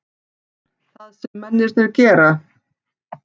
Það sem mennirnir gera?